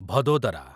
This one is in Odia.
ଭଦୋଦରା